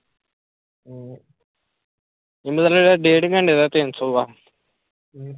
ਇਹਨਾਂ ਦਾ ਡੇਢ ਘੰਟੇ ਦਾ ਤਿੰਨ ਸੌ ਆ